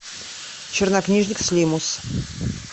чернокнижник слимус